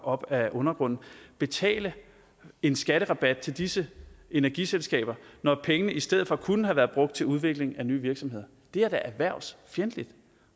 op af undergrunden betale en skatterabat til disse energiselskaber når pengene i stedet for kunne have været brugt til udvikling af nye virksomheder det er da erhvervsfjendtligt